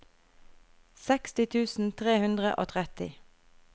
seksti tusen tre hundre og tretti